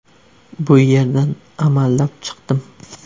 Bu yerdan amallab chiqdim.